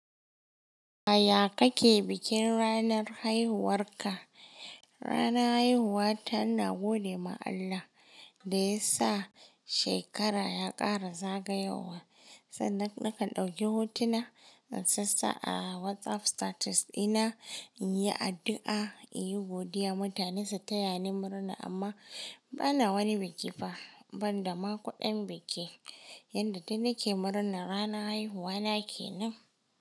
A ya ka ke bikin ranar haihuwarka. Rana haihuwa tana gode ma Allah da ya sa shekara ya ƙara zagayowa. Sannan nakan ɗauki hotuna, na sassa a WhatsApp status ɗina, inyi addu'a, in yi godiya mutane su taya ni murna amma bana wani biki fa banda ma kuɗin biki. Yanda dai nake murna rana haihuwa na ke nan.